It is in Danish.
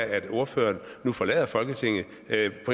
at ordføreren nu forlader folketinget